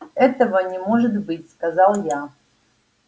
этого не может быть сказал я